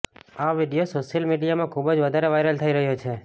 આ video social મીડિયામાં ખુબ જ વધારે વાયરલ થઈ રહ્યો છે